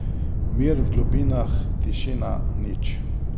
Mir v globinah, tišina, nič.